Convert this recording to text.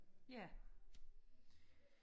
ja